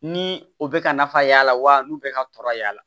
Ni o bɛ ka nafa y'a la wa n'u bɛ ka tɔɔrɔ y'a la